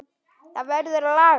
Það verður að laga.